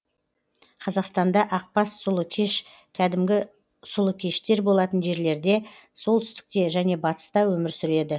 қазақстанда ақбас сұлыкеш кәдімгі сұлыкештер болатын жерлерде солтүстікте және батыста өмір сүреді